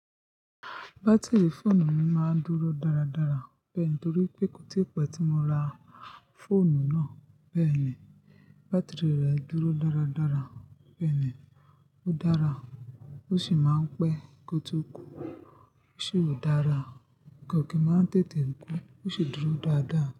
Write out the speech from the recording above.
Batiri fóònù mi máa ń dúró dáradára bẹ́ni nítorí pé kò tí pẹ́ tí mo ra fóònù náà. Bẹ́ẹ̀ ni, batiri rẹ̀ dúró dáradára. Bẹ́ẹ̀ ni, ó dára. Ó sì máa ń pẹ́ kótó kù. Ó sì ò dára. Kọkì máa ń tètè kú ó sì dúró dáadáa.